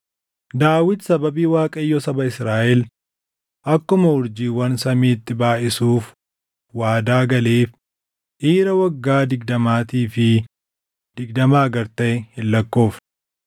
Daawit sababii Waaqayyo saba Israaʼel akkuma urjiiwwan samiitti baayʼisuuf waadaa galeef dhiira waggaa digdamaatii fi digdamaa gad taʼe hin lakkoofne.